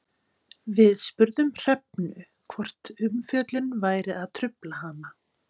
Við spurðum Hrefnu hvort umfjöllunin væri að trufla hana?